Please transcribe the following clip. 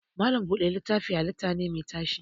Malam buɗe littafi halitta ne mai tashi